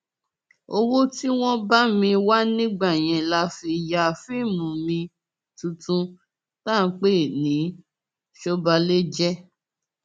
owó tí wọn bá mi wá nígbà yẹn la fi ya fíìmù mi tuntun tá a pè ní sọbàlejẹ